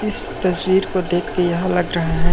इस तस्वीर को देख के यह लग रहा है।